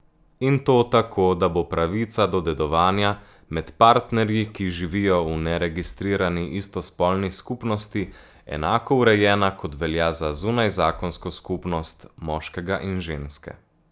In to tako, da bo pravica do dedovanja med partnerji, ki živijo v neregistrirani istospolni skupnosti, enako urejena, kot velja za zunajzakonsko skupnost moškega in ženske.